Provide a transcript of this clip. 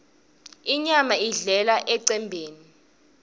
inyama idlelwa emcembeni